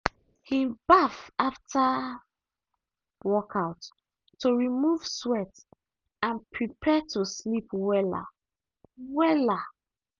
him baff after workout to remove sweat and prepare to sleep wella. wella.